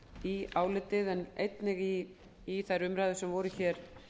í álitið en einnig í þær umræður sem voru hér